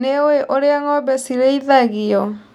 Nĩũĩ ũrĩa ng'ombe cirĩithagio.